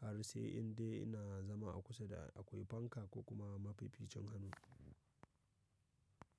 har sai indai ina zama a kusa da akwai fanka ko kuma mafificin hannu.